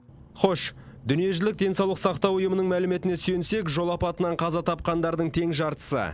хош дүниежүзілік денсаулық сақтау ұйымының мәліметіне сүйенсек жол апатынан қаза тапқандардың тең жартысы